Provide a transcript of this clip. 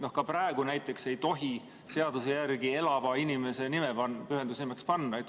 Ka praegu näiteks ei tohi seaduse järgi panna elava inimese nime pühendusnimeks.